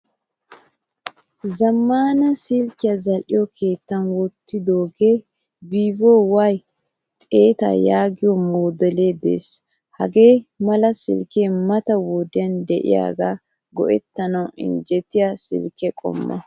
Zammaana silkiyaa za'liyo keettan wottidoge VIVO Y 100 yaagoyo modele de'ees. Hagaa mala silke mata wodiyan yiida go'ettanawu injjetiyaa silke qommo.